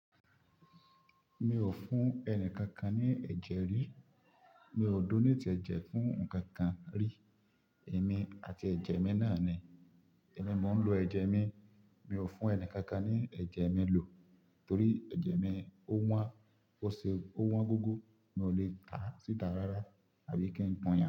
Mi ò fún ẹni kankan ní ẹ̀jẹ̀ rí. Mi ò donate ẹ̀jẹ̀ fún ǹkan kan rí. Èmi àti ẹ̀jẹ̀ mi náà ni. Èmi mò ń lo ẹ̀jẹ̀ mi. Mi ò fún ẹni kankan ní ẹ̀jẹ̀ mi lò torí ẹ̀jẹ̀ mi ó wọ́n, ó ṣe ó wọ́n gógó. Mi ò lè tà á síta rárá àbí kí n pọn yan.